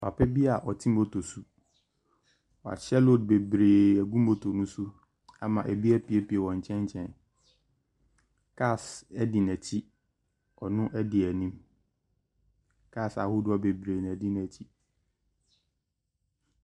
Pap bi a ɔte moto so, wahyɛ load bebree agu moto ne so ama bi apuepue wɔ nkyɛnkyɛn. Cars di n’akyi, ɔno di anim. Cars ahodoɔ bebree na adi n’akyi.